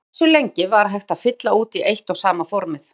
En hversu lengi var hægt að fylla út í eitt og sama formið?